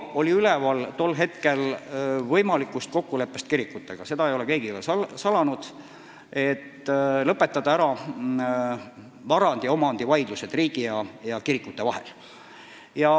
Tol hetkel oli üleval võimalik kokkulepe kirikutega – seda ei ole keegi ka salanud –, et lõpetada ära vara puudutavad omandivaidlused riigi ja kirikute vahel.